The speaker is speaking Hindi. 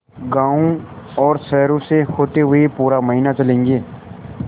गाँवों और शहरों से होते हुए पूरा महीना चलेंगे